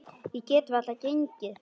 Ég get varla gengið.